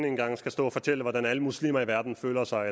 engang skal stå og fortælle hvad alle muslimer i verden føler sig